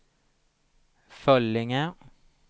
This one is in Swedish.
Föllinge